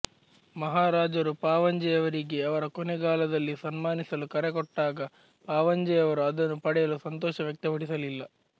ಮಹಾರಾಜರು ಪಾವಂಜೆಯವರಿಗೆ ಅವರ ಕೊನೆಗಾಲದಲ್ಲಿ ಸನ್ಮಾನಿಸಲು ಕರೆಕೊಟ್ಟಾಗ ಪಾವಂಜೆಯವರು ಅದನ್ನು ಪಡೆಯಲು ಸಂತೋಷ ವ್ಯಕ್ತಪಡಿಸಲಿಲ್ಲ